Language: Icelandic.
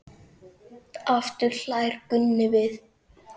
Aftur hlær Gunni við.